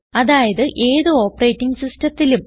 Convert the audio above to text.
അതായത് ഏത് ഓപ്പറേറ്റിംഗ് സിസ്റ്റത്തിലും